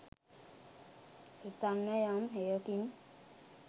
හිතන්න යම් හෙයකින්